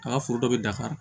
A ka foro dɔ bɛ dafari